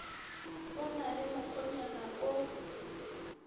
o na le mokgwanyana o